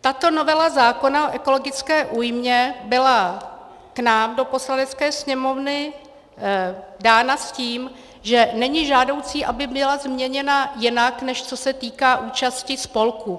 tato novela zákona o ekologické újmě byla k nám do Poslanecké sněmovny dána s tím, že není žádoucí, aby byla změněna jinak, než co se týká účasti spolků.